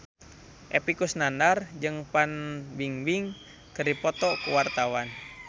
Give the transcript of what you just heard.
Epy Kusnandar jeung Fan Bingbing keur dipoto ku wartawan